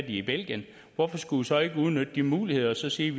i belgien hvorfor skulle vi så ikke udnytte den mulighed og sige